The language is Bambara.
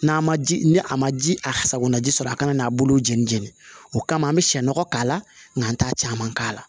N'a ma ji ni a ma ji a sagona ji sɔrɔ a kana n'a bolo jeni jeni o kama an bɛ sɛnɔgɔ k'a la nka n t'a caman k'a la